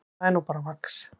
Það er nú bara vax.